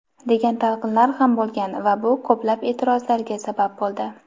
degan talqinlar ham bo‘lgan va bu ko‘plab eʼtirozlarga sabab bo‘ldi.